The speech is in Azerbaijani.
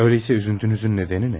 Öyleysə üzüntünüzün nədəni nə?